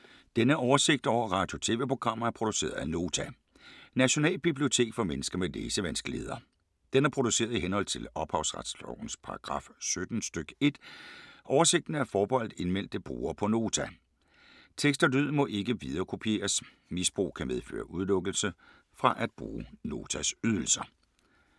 Denne oversigt over radio og TV-programmer er produceret af Nota, Nationalbibliotek for mennesker med læsevanskeligheder. Den er produceret i henhold til ophavsretslovens paragraf 17 stk. 1. Oversigten er forbeholdt indmeldte brugere på Nota. Tekst og lyd må ikke viderekopieres. Misbrug kan medføre udelukkelse fra at bruge Notas ydelser.